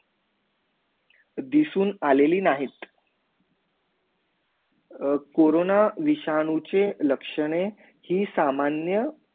दिशून आलेली नाहीत कोरोना विषाणूचे लक्षणे ही सामान्य